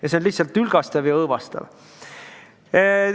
Ja see on lihtsalt tülgastav ja õõvastav.